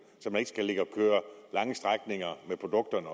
så man ikke skal ligge og køre lange strækninger med produkterne